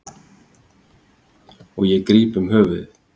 Og ég gríp um höfuðið.